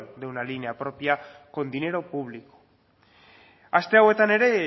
de una línea propia con dinero público aste hauetan ere